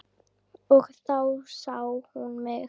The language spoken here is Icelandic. Og þá sá hún mig.